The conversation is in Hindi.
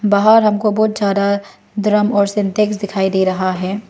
बाहर हमको बहुत सारा ड्रम और सिंटेक्स दिखाई दे रहा है।